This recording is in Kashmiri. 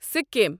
سِکیم